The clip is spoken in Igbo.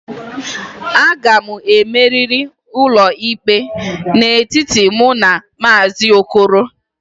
A ga m emeri n'ụlọikpe a n'etiti mụ na Mr. okoro